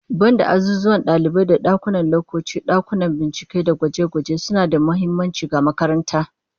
Banda azuzuwan dalibai da dakunan laccoci, dakunan bincike da gwaje-gwaje suna da muhimmanci ga makaranta